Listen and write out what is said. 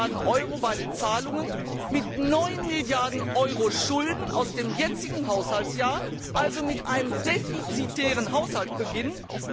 5 Milliarden Euro bei den Zahlungen, mit 9 Milliarden Euro Schulden aus dem jetzigen Haushaltsjahr, also mit einem defizitären Haushalt beginnen.